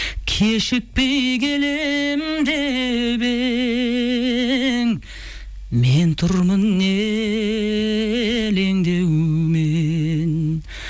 кешікпей келем деп ең мен тұрмын елеңдеумен